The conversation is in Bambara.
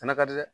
Fana ka di dɛ